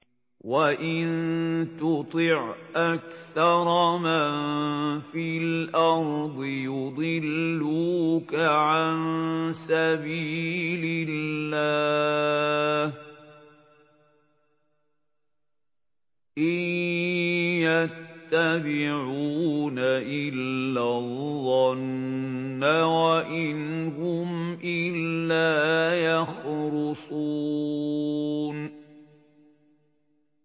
وَإِن تُطِعْ أَكْثَرَ مَن فِي الْأَرْضِ يُضِلُّوكَ عَن سَبِيلِ اللَّهِ ۚ إِن يَتَّبِعُونَ إِلَّا الظَّنَّ وَإِنْ هُمْ إِلَّا يَخْرُصُونَ